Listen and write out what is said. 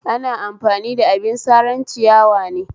Ana amfani da abin saran ciyawa ne